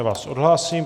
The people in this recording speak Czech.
Já vás odhlásím.